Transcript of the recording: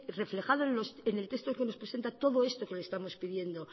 reflejado en el texto que nos presenta todo esto que le estamos pidiendo